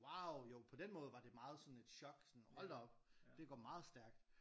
Wow jo på den måde var det meget sådan en chok sådan hold da op det går meget stærkt